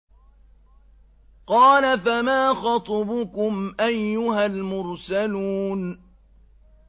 ۞ قَالَ فَمَا خَطْبُكُمْ أَيُّهَا الْمُرْسَلُونَ